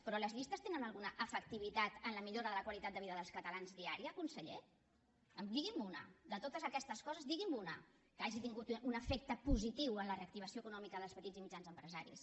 però les llistes tenen alguna efectivitat en la millora de la qualitat de vida dels catalans diària conseller diguime’n una de totes aquestes coses digui me’n una que hagi tingut un efecte positiu en la reactivació econòmica dels petits i mitjans empresaris